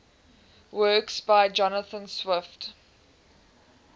works by jonathan swift